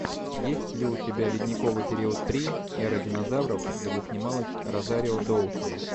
есть ли у тебя ледниковый период три эра динозавров где снималась розарио доусон